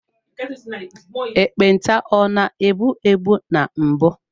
Ekpenta ọ na egbu egbu na mbụ.